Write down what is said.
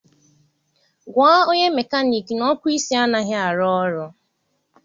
Gwa onye mekaniki na ọkụ isi anaghị arụ ọrụ.